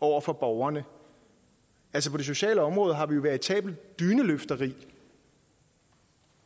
over for borgerne altså på det sociale område har vi jo et veritabelt dyneløfteri